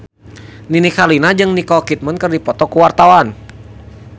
Nini Carlina jeung Nicole Kidman keur dipoto ku wartawan